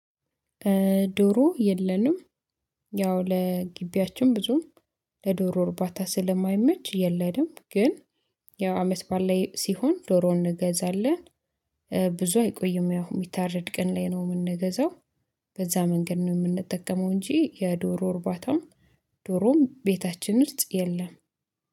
ዶሮ የለንም ያው ለግቢያችን ብዙም ለዶሮ እርባታ ስለማይመች የለም። ግን ያው አመት በዓል ላይ ሲሆን ዶሮ እንገዛለን ብዙ አይቆይም ያው የሚታረድ ቀን ላይ ነው የምንገዛው። በዛ መንገድ ነው የምንጠቀመው እንጂ የዶሮ እርባታም ዶሮም ቤታችን ውስጥ የለም